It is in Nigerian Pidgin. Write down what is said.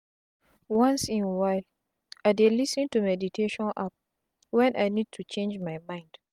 once in while i dey lis ten to meditation app when i need to change my mind.